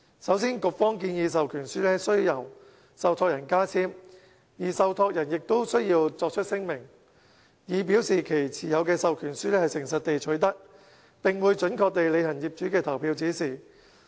首先，局方建議授權書須由受託人加簽，而受託人亦須作出聲明，以表示其持有的授權書是誠實地取得，並會準確履行業主的投票指示。